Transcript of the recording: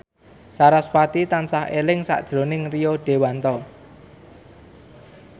sarasvati tansah eling sakjroning Rio Dewanto